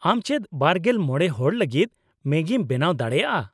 ᱟᱢ ᱪᱮᱫ ᱒᱕ ᱦᱚᱲ ᱞᱟᱹᱜᱤᱫ ᱢᱮᱜᱤᱢ ᱵᱮᱱᱟᱣ ᱫᱟᱲᱮᱭᱟᱜᱼᱟ ?